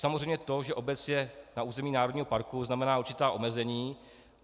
Samozřejmě to, že obec je na území národního parku, znamená určitá omezení.